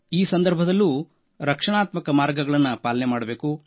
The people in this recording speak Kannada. ಈ ಸಂದರ್ಭದಲ್ಲೂ ರಕ್ಷಣಾತ್ಮಕ ಮಾರ್ಗಗಳನ್ನು ಪಾಲನೆ ಮಾಡಬೇಕು